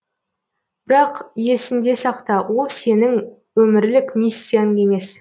бірақ есіңде сақта ол сенің өмірлік миссияң емес